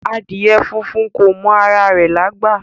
Adìẹ funfun kò mọ ara rẹ̀lágbà